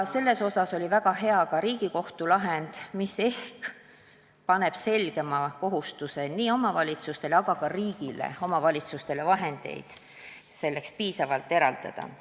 Väga hea oli ka Riigikohtu lahend, mis ehk paneb selgema kohustuse nii omavalitsustele, aga kohustuse ka riigile omavalitsustele selleks piisavalt vahendeid eraldada.